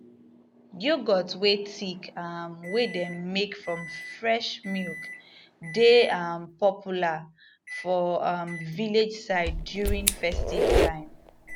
yoghurt wey thick um wey dem make from fresh milk dey um popular for um village side during festive time